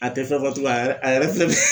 A tɛ fɛn fɔ tugun a yɛrɛ a yɛrɛ filɛ nin ye.